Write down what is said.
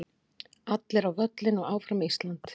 Allir á völlinn og Áfram Ísland.